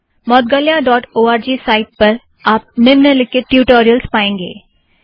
Moudgalya dot O R G site पर आप निम्नलिखित ट्युटोरियलस पाएँगे